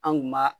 An kun b'a